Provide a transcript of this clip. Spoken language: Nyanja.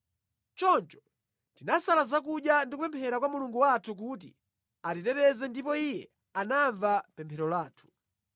Choncho tinasala zakudya ndi kupemphera kwa Mulungu wathu kuti atiteteze ndipo Iye anamva pemphero lathu.